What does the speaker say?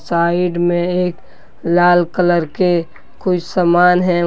Side में एक लाल कलर के कुछ सामान है।